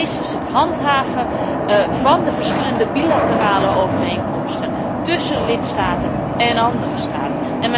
Mijn vrees is het handhaven van de verschillende bilaterale overeenkomsten tussen lidstaten en andere staten.